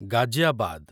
Ghaziabad